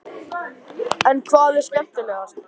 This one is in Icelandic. En hvað er skemmtilegast?